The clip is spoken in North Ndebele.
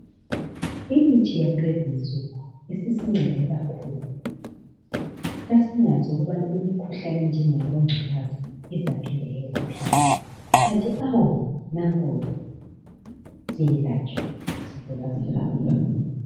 Imithi yakulezinsuku isisincede kakhulu sasingazi ukubana imikhuhlane enjengabongculaza izaphinda yelapheke. Kanti awu nanku ke siyelatshwa sivuka sihamba.